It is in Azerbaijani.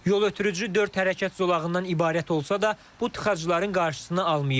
Yol ötürücü dörd hərəkət zolağından ibarət olsa da, bu tıxacların qarşısını almayıb.